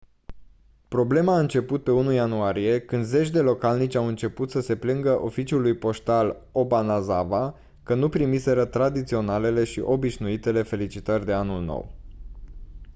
problema a început pe 1 ianuarie când zeci de localnici au început să se plângă oficiului poștal obanazawa că nu primiseră tradiționalele și obișnuitele felicitări de anul nou